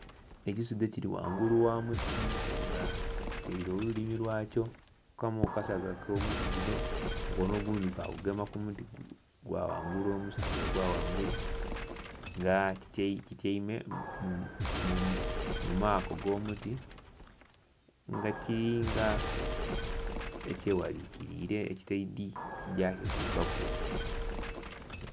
Ekisudhe kiri ghangulu gha muti nga kitaire olulimi lwakyo kukamu kukasaga akomuti guno, omukono ogundhi kagugema kumuti ogwa ghangulu omusaga ogwa ghangulu nga kityaime mumako ag'omuti nga kiri nga ekyaghalikirire ekitaidhe kigya kitukaku.